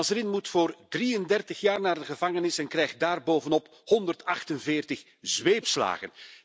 Nasrin moet voor 33 jaar naar de gevangenis en krijgt daarbovenop 148 zweepslagen.